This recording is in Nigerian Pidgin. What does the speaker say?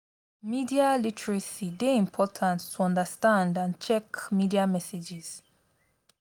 media literacy dey important to understand and check media messages.